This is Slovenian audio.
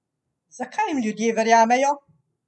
Zakaj jim ljudje verjamejo?